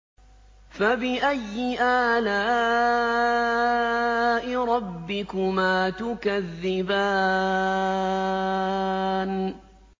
فَبِأَيِّ آلَاءِ رَبِّكُمَا تُكَذِّبَانِ